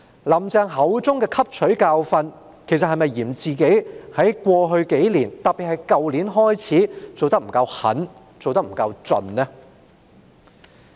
"林鄭"口中的汲取教訓，其實是否嫌自己在過去數年——特別是去年——做得不夠狠、不夠徹底呢？